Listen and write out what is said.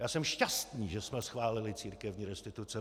Já jsem šťastný, že jsme schválili církevní restituce.